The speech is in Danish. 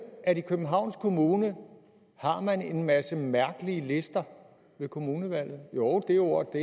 at i københavns kommune har man en masse mærkelige lister ved kommunevalget jo det ord